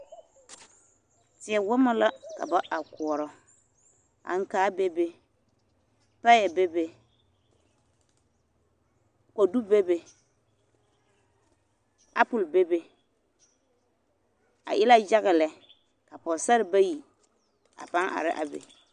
Teɛ wɔmɔ la ka ba a koɔrɔ, aŋkaa bebe, payɛ bebe, kodu bebe, apole bebe, a e la yaga lɛ ka Pɔgesarre bayi a pãã are a be.